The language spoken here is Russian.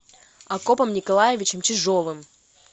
акопом николаевичем чижовым